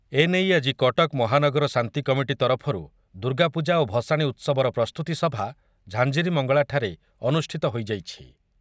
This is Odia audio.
ଏନେଇ ଆଜି କଟକ ମହାନଗର ଶାନ୍ତି କମିଟି ତରଫରୁ ଦୁର୍ଗାପୂଜା ଓ ଭସାଣି ଉତ୍ସବର ପ୍ରସ୍ତୁତି ସଭା ଝାଞ୍ଜିରୀମଙ୍ଗଳାଠାରେ ଅନୁଷ୍ଠିତ ହୋଇଯାଇଛି ।